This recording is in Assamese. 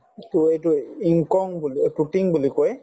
to এইটো yingkiong বুলি অ বুলি কয়